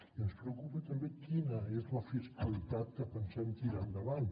i ens preocupa també quina és la fiscalitat que pensem tirar endavant